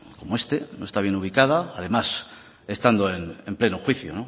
como este no está bien ubicada además estando en pleno juicio